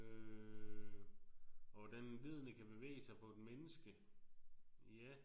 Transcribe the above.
Øh og hvordan leddene kan bevæge sig på et menneske ja